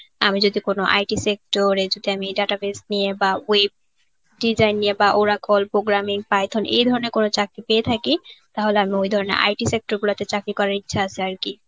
আমি যদি কোন IT sector এ যদি আমি এই database নিয়ে বা web design নিয়ে বা oracle programming python এই ধরনের কোনো চাকরি পেয়ে থাকে তাহলে আমি ওই ধরনের IT sector গুলা তে চাকরি করার ইচ্ছা আছে আর কি